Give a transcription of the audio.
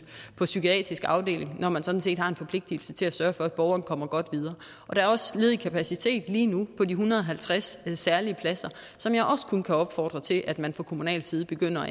på psykiatrisk afdeling når man sådan set har en forpligtelse til at sørge for at borgerne kommer godt videre der er også ledig kapacitet lige nu på de en hundrede og halvtreds særlige pladser som jeg også kun kan opfordre til at man fra kommunal side begynder